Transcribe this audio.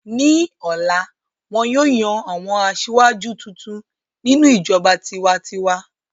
Ní ọ̀la, wọn yóò yan àwọn aṣáájú tuntun nínú ìjọba tiwa-n-tiwa.